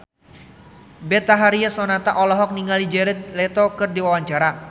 Betharia Sonata olohok ningali Jared Leto keur diwawancara